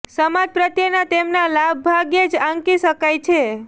સમાજ પ્રત્યેના તેમના લાભ ભાગ્યે જ આંકી શકાય છે